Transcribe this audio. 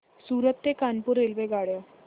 सूरत ते कानपुर रेल्वेगाड्या